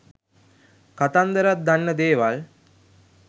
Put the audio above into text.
කතන්දරත් දන්න දේවල්